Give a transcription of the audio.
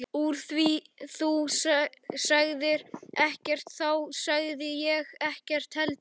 Úr því þú sagðir ekkert þá sagði ég ekkert heldur.